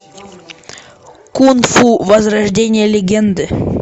кунг фу возрождение легенды